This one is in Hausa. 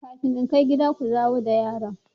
Kafin in kai gida, ku dawo da yaron!